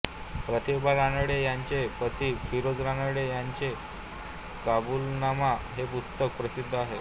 प्रतिभा रानडे यांचे पती फिरोज रानडे यांचे काबूलनामा हे पुस्तक प्रसिद्ध आहे